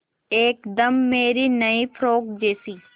एकदम मेरी नई फ़्रोक जैसी